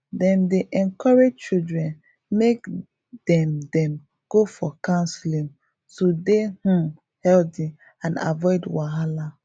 dem dey encourage children make dem dem go for counseling to dey um healthy and avoid wahala